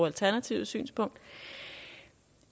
alternativets synspunkt